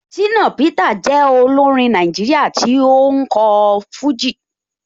Shina Peter jẹ́ olórin Nàìjíríà tó ń kọ fújì.